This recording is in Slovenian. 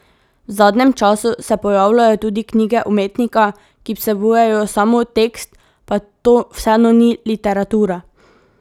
V zadnjem času se pojavljajo tudi knjige umetnika, ki vsebujejo samo tekst, pa to vseeno ni literatura.